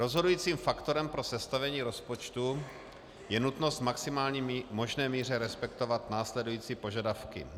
Rozhodujícím faktorem pro sestavení rozpočtu je nutnost v maximální možné míře respektovat následující požadavky.